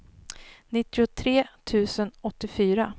nittiotre tusen åttiofyra